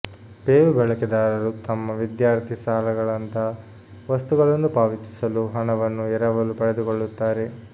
pave ಬಳಕೆದಾರರು ತಮ್ಮ ವಿದ್ಯಾರ್ಥಿ ಸಾಲಗಳಂತಹ ವಸ್ತುಗಳನ್ನು ಪಾವತಿಸಲು ಹಣವನ್ನು ಎರವಲು ಪಡೆದುಕೊಳ್ಳುತ್ತಾರೆ